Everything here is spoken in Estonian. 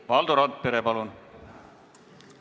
Valdo Randpere, palun!